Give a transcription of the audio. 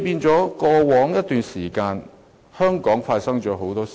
在過往一段時間，香港發生了很多事。